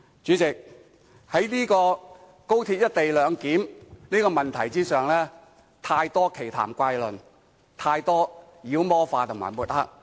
主席，在高鐵"一地兩檢"的問題上，有太多奇談怪論，有太多妖魔化及抹黑。